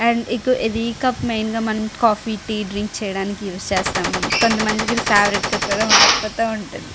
And ఇక ఇది ఈ కప్పు మెయిన్ గా కాఫీ టి డ్రింక్ చేయటానికి ఊసే చేస్తాము అండ్ కొంతమందికి ఇది ఫయవవురితే గా కూడా మారిపోతూ ఉంటుంది.